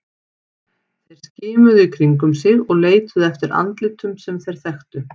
Þeir skimuðu í kringum sig og leituðu eftir andlitum sem þeir þekktu.